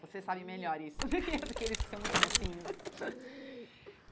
Você sabe melhor isso do que do que eles que são muito mocinhos.